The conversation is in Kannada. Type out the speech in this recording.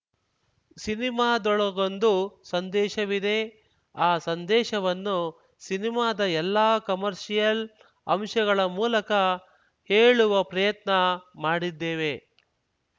ಸಿನಿಮಾದೊಳಗೊಂದು ಸಂದೇಶವಿದೆ ಆ ಸಂದೇಶವನ್ನು ಸಿನಿಮಾದ ಎಲ್ಲಾ ಕಮರ್ಷಿಯಲ್‌ ಅಂಶಗಳ ಮೂಲಕ ಹೇಳುವ ಪ್ರಯತ್ನ ಮಾಡಿದ್ದೇವೆ